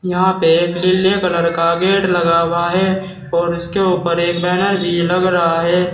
यहाँ पे एक नीले कलर का गेट लगा हुआ है और इसके ऊपर एक बैनर भी लग रहा है।